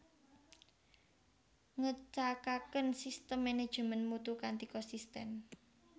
Ngecakaken sistem manajemen mutu kanthi konsisten